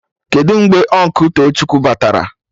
Kedụ mgbe Ụnkụ Tochukwu batara?